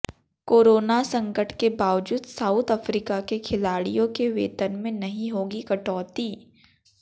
corona संकट के बावजूद साउथ अफ्रीका के खिलाड़ियों के वेतन में नहीं होगी कटौती